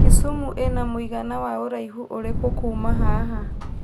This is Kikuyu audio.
Kisumu ĩna mũigana wa ũraihu ũrikũ kuma haha